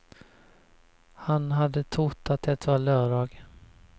Han hade trott att det var lördag.